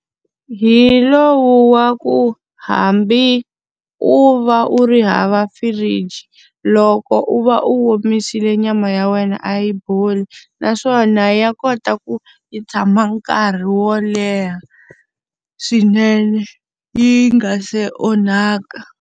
Hi lowu wa ku hambi u va u ri hava firiji, loko u va u omisile nyama ya wena a yi boli. Naswona ya kota ku yi tshama nkarhi wo leha swinene yi nga se onhaka.